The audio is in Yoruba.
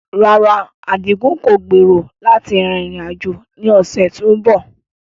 Rárá, Adigun kò gbèrò láti rin ìrìn-àjò ní Ọjọ́bọ̀ tó ń bọ̀.